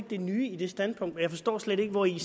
det nye i det standpunkt og jeg forstår slet ikke hvori